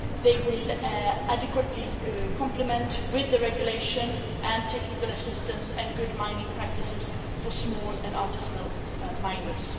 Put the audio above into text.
They will adequately complement the regulation with technical assistance and good mining practices for small and artisanal miners.